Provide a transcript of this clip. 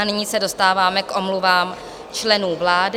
A nyní se dostáváme k omluvám členů vlády.